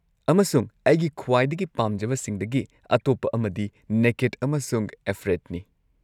ꯑꯃꯁꯨꯡ ꯑꯩꯒꯤ ꯈ꯭ꯋꯥꯏꯗꯒꯤ ꯄꯥꯝꯖꯕꯁꯤꯡꯗꯒꯤ ꯑꯇꯣꯞꯄ ꯑꯃꯗꯤ ꯅꯦꯀꯦꯗ ꯑꯃꯁꯨꯡ ꯑꯦꯐ꯭ꯔꯦꯗꯅꯤ꯫